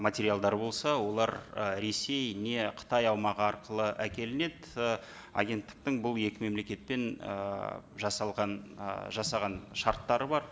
материалдары болса олар ы ресей не қытай аумағы арқылы әкелінеді і агенттіктің бұл екі мемлекетпен і жасалған ы жасаған шарттары бар